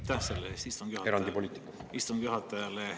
Aitäh selle eest istungi juhatajale!